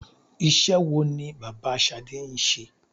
Iṣẹ́ wo ni bàbá Ṣadé ń ṣe?